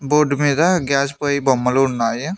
Board మీద gas పోయి బొమ్మలు ఉన్నాయి.